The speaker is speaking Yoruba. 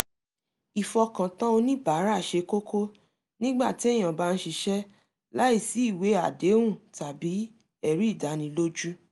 ìfọkàtàn oníbàárà ṣe kókó nígbà téèyàn bá ń ṣiṣẹ́ láìsí ìwé àdéhùn tàbí ẹ̀rí ìdánilójú